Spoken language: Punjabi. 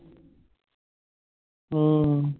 ਆਹੋ